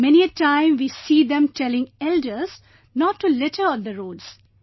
Many a time we see them telling elders not to litter on the roads